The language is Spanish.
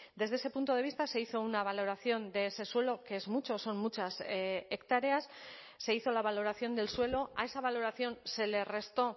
desde ese punto de vista se hizo una valoración de ese suelo que es mucho son muchas hectáreas se hizo la valoración del suelo a esa valoración se le restó